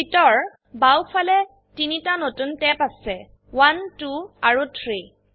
sheet এৰ বাও ফালে 3টা নতুন ট্যাব আছে1 2 আৰু 3